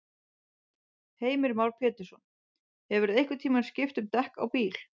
Heimir Már Pétursson: Hefurðu einhvern tímann skipt um dekk á bíl?